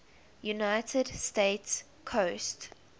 united states coast